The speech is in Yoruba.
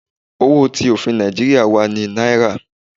Owo ti ofin Naijiria wa ni Naira